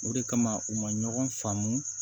O de kama u ma ɲɔgɔn faamu